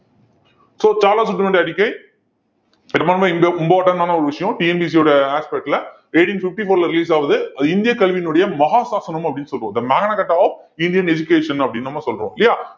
so Charles வுட்டோட அறிக்கை பெரும்பான்மை இந்த important ஆன ஒரு விஷயம் TNPSC யோட aspect ல eighteen fifty four ல release ஆகுது அது இந்திய கல்வியினுடைய மகாசாசனம் அப்படின்னு the magna carta of Indian education அப்படின்னு நம்ம சொல்றோம் இல்லையா